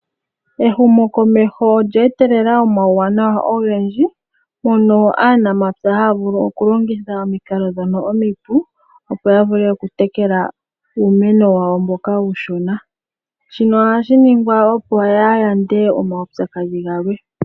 Ehumokomeho olye etelela omauwanawa ogendji , mono aanapya haya vulu okulongitha omikalo ndhono omipu opo yavule okutekela uumeno wawo mboka uushona. Shino ohashi ningwa opo yayande omaupyakadhi galwe.